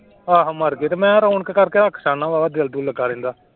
ਆਹੋ ਮਰ ਗਏ ਤੇ ਮੈਂ ਰੌਣਕ ਕਰਕੇ ਰੱਖਦਾ ਹੁਨਾ ਬਾਵਾ ਦਿਲ ਦੁਲ ਲੱਗਾ ਰਹਿੰਦਾ।